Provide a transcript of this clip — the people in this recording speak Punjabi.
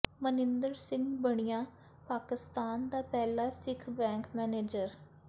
ਮਨਿੰਦਰ ਸਿੰਘ ਬਣਿਆ ਪਾਕਿਸਤਾਨ ਦਾ ਪਹਿਲਾ ਸਿੱਖ ਬੈਂਕ ਮੈਨੇਜਰ